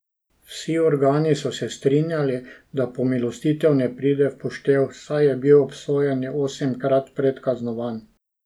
Vsi organi so se strinjali, da pomilostitev ne pride v poštev, saj je bil obsojeni osemkrat predkaznovan.